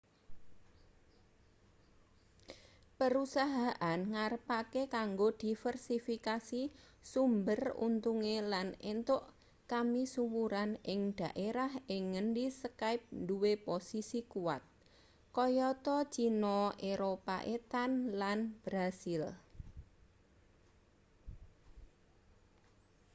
perusahaan ngarepake kanggo diversifikasi sumber untunge lan entuk kamisuwuran ing daerah ing ngendi skype duwe posisi kuwat kayata cina eropa etan lan brasil